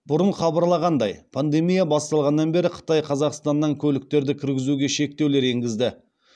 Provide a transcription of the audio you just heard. бұрын хабарлағандай пандемия басталғаннан бері қытай қазақстаннан көліктерді кіргізуге шектеулер енгізді